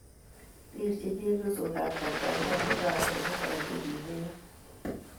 rirchini chepyosokab Tanzania mung'arenikwak che kimeiyo